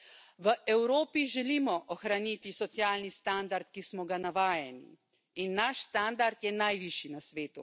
V Evropi želimo ohraniti socialni standard, ki smo ga navajeni, in naš standard je najvišji na svetu.